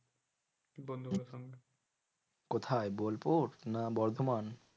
কোথায় বোলপুর না বর্ধমান?